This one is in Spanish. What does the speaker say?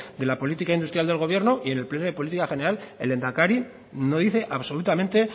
de la política industrial del gobierno y en el pleno de política general el lehendakari no dice absolutamente